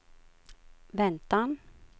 väntan